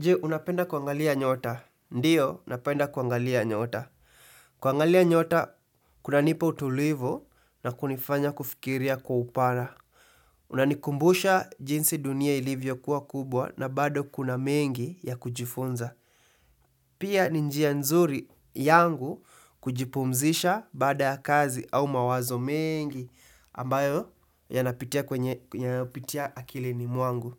Je, unapenda kuangalia nyota? Ndiyo, napenda kuangalia nyota. Kuangalia nyota, kuna nipa utulivu na kunifanya kufikiria kwa upana. Unanikumbusha jinsi dunia ilivyo kuwa kubwa na bado kuna mengi ya kujifunza. Pia ninjia nzuri yangu kujipumzisha baada ya kazi au mawazo mengi ambayo yanapitia kwenye, yanayonapitia akilini mwangu.